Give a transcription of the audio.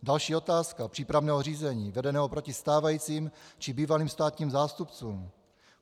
Další otázka přípravného řízení vedeného proti stávajícím či bývalým státním zástupcům.